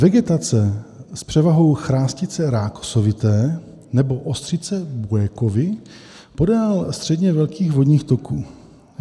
Vegetace s převahou chrastice rákosovité nebo ostřice Buekovy podél středně velkých vodních toků.